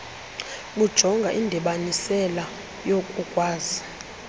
bujonga indibanisela yokukwazi